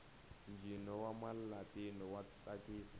ntjino wamalatino watsakisa